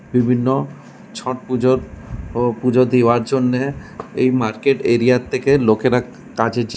বিভিন্ন ছট পুজোর ও পুজো দিয়ার জন্যে এই মার্কেট এরিয়া -র থেকে লোকেরা --